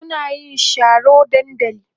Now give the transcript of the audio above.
suna yin Sharo dandali